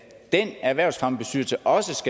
den erhvervsfremmebestyrelse også